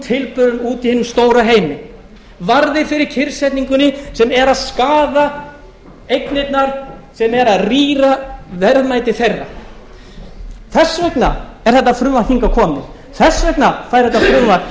tilburðum úti í hinum stóra heimi varðir fyrir kyrrsetningunni sem er að skaða eignirnar sem eru að rýra verðmæti þeirra þess vegna er þetta frumvarp hingað komið þess vegna fær þetta frumvarp